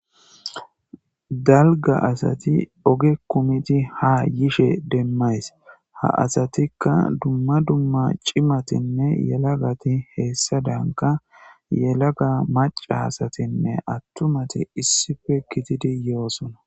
dalga asati oge kumiti ha yishe demmays ha asatikka dumma dumma cimatinne yelagati heessadanka yelaga maca asatinne attumati issife kitidi yoosona